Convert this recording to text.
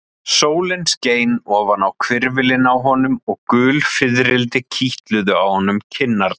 Sólin skein ofan á hvirfilinn á honum og gul fiðrildi kitluðu á honum kinnarnar.